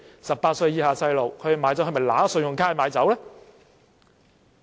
18歲以下的青少年會否以信用卡買酒？